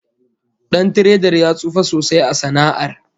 Dan tiredar ya tsufa sosai a sana'ar